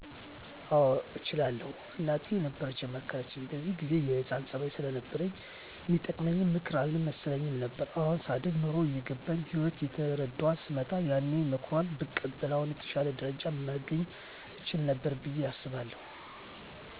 አዎ እችላለሁ፣ እናቴ ነበረች የመከረችኝ በዚያን ጊዜ የህፃንነት ፀባይ ስለነበረኝ ሚጠቅመኝ ምክር አልመሰለኝም ነበር። አሁን ሳድግ ኑሮ እየገባኝ ህይወትን እየተረዳኋት ስመጣ ያኔ ሞክሯል ብቀበል አሁን የተሻለ ደረጃ መገኘት እችል ነበር ብየ አስባለሁ።